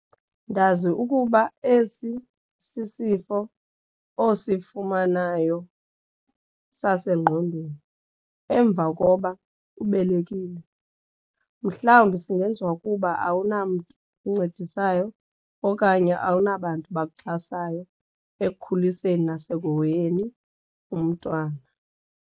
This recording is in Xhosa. Ndazi ukuba esi sisifo osifumanayo sasengqondweni emva koba ubelekile. Mhlawumbi singenziwa ukuba awunamtu uncedisayo okanye awunabantu bakuxhasayo ekukhuliseni nasekuhoyeni umntwana.